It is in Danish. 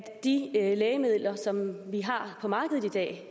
de lægemidler som vi har på markedet i dag